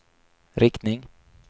riktning